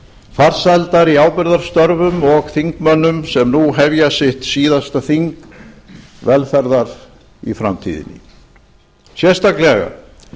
farsældar í ábyrgðarstörfum og þingmönnum sem nú hefja sitt síðasta þing velferðar í framtíðinni sérstaklega